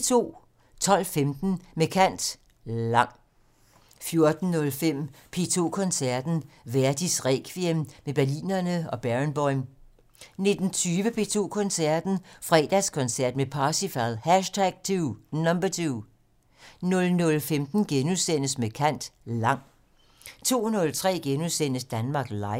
12:15: Med kant - Lang 14:05: P2 Koncerten - Verdis Requiem med Berlinerne og Barenboim 19:20: P2 Koncerten - Fredagskoncert med Parsifal #2 00:15: Med kant - Lang * 02:03: Danmark Live *